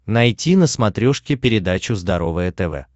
найти на смотрешке передачу здоровое тв